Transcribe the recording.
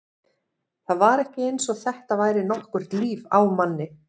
Það var ekki eins og þetta væri nokkurt líf á manni.